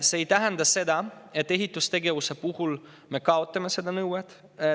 See ei tähenda seda, et ehitustegevuse puhul me kaotame selle nõude.